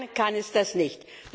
Allein kann es das nicht.